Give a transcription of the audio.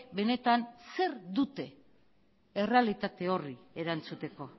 benetan zer dute errealitate horri erantzuteko